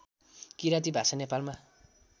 किराँती भाषा नेपालमा